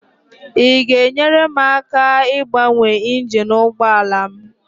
ị ga-enyere m aka ịgbanwe injin ụgbọ ala m?